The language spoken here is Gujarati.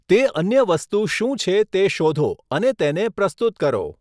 તે અન્ય વસ્તુ શું છે તે શોધો અને તેને પ્રસ્તુત કરો.